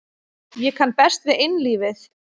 Ég kann best við einlífið.